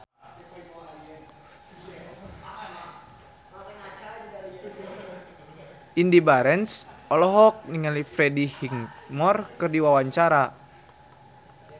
Indy Barens olohok ningali Freddie Highmore keur diwawancara